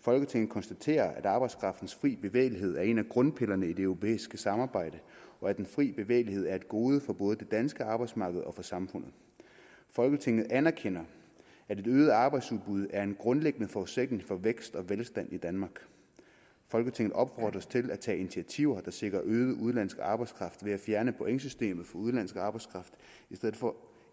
folketinget konstaterer at arbejdskraftens fri bevægelighed er en af grundpillerne i det europæiske samarbejde og at den fri bevægelighed er et gode for både det danske arbejdsmarked og samfundet folketinget anerkender at et øget arbejdsudbud er en grundlæggende forudsætning for vækst og velstand i danmark folketinget opfordres til at tage initiativer der sikrer øget udenlandsk arbejdskraft ved at fjerne pointsystemet for udenlandsk arbejdskraft